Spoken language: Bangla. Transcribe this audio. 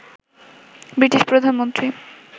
ব্রিটিশ প্রধানমন্ত্রী